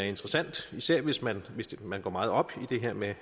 interessant hvis man man går meget op i det her med